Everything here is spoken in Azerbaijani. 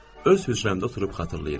Öz hücrəmdə oturub xatırlayıram.